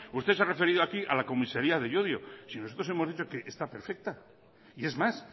usted se ha referido aquí a la comisaría de llodio si nosotros hemos dicho que está perfecta y es más